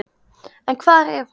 En hvar er hún?